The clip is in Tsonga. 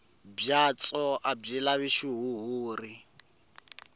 byatso a byi lavi xihuhuri